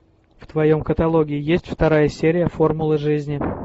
в твоем каталоге есть вторая серия формула жизни